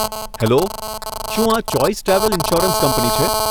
Hello, શું આ choice travel insurance company છે?